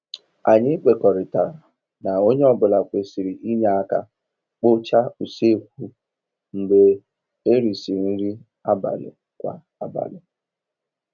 Anyị kwekọrịtara na onye ọ bụla kwerisịr inye aka kpochaa usekwu mgbe erisịrị nri abalị kwa abalị